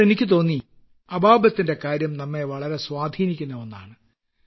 അപ്പോൾ എനിക്കുതോന്നി അബാബത്തിന്റെ കാര്യം നമ്മെ വളരെ സ്വാധീനിക്കുന്ന ഒന്നാണ്